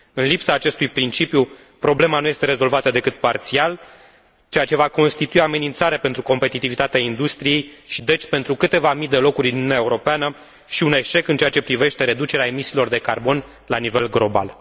În lipsa acestui principiu, problema nu este rezolvată decât parțial, ceea ce va constitui o amenințare pentru competitivitatea industriei și, deci, pentru câteva mii de locuri din Uniunea Europeană și un eșec în ceea ce privește reducerea emisiilor de carbon la nivel global.